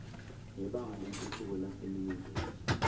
nebhange lentuthuko laseningizimu